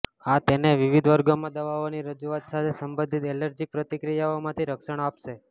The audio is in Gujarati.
આ તેને વિવિધ વર્ગોમાં દવાઓની રજૂઆત સાથે સંબંધિત એલર્જીક પ્રતિક્રિયાઓથી રક્ષણ આપશે